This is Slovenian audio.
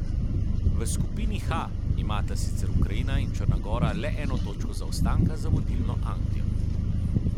V skupini H imata sicer Ukrajina in Črna gora le eno točko zaostanka za vodilno Anglijo.